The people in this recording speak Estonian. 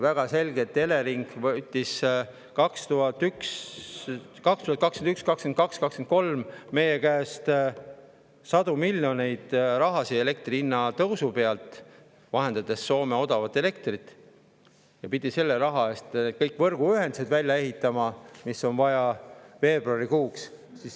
Elering võttis 2021, 2022, 2023 meie käest elektri hinna tõusu kaudu sadu miljoneid eurosid, vahendades Soome odavat elektrit, ja pidi selle raha eest kõik võrguühendused, mida on vaja, veebruarikuuks välja ehitama.